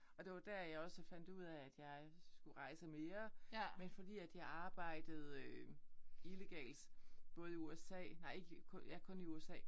Og det var der jeg også fandt ud af at jeg skulle rejse mere men fordi at jeg arbejde illegalt både i USA nej ikke i ja kun i USA